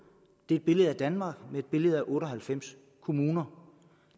er et billede af danmark med et billede af otte og halvfems kommuner